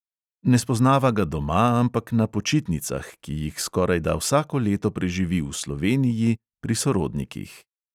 Ne spoznava ga doma, ampak na počitnicah, ki jih skorajda vsako leto preživi v sloveniji pri sorodnikih.